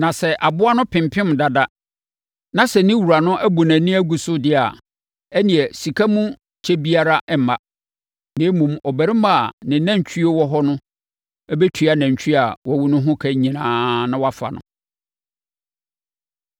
Na sɛ aboa no pempem dada na sɛ ne wura no abu nʼani agu so deɛ a, ɛnneɛ, sika mu kyɛ biara remma; na mmom, ɔbarima a ne nantwie wɔ hɔ no bɛtua nantwie a wawu no ho ka nyinaa na wafa no.